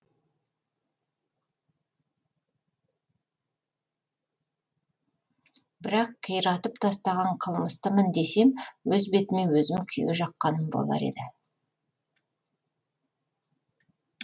бірақ қиратып тастаған қылмыстымын десем өз бетіме өзім күйе жаққаным болар еді